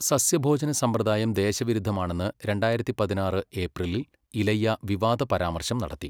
സസ്യഭോജന സമ്പ്രദായം ദേശവിരുദ്ധമാണെന്ന് രണ്ടായിരത്തി പതിനാറ് ഏപ്രിലിൽ ഇലയ്യ വിവാദ പരാമർശം നടത്തി.